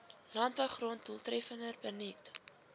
landbougrond doeltreffender benut